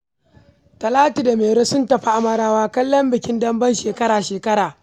Talatu da Mairo sun tafi Amarawa kallon bikin dambe na shekara-shekara.